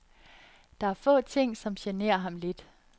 Der er få ting, som generer ham lidt.